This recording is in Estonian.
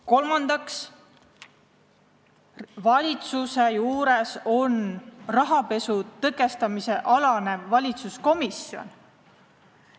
Kolmandaks, valitsuse juures tegutseb rahapesu tõkestamise komisjon.